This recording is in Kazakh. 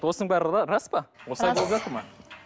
осының барлығы рас па осылай болып жатыр ма